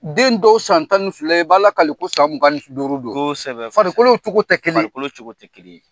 Den dɔw san tan ni fila i b'ala kale ko san mugan ni duuru don . Farikolow cogo tɛ kelen ye. Farikolo cogo tɛ kelen ye.